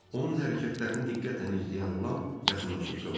Onun hərəkətlərini diqqətlə izləyən Lam yaxınlaşıb soruştu: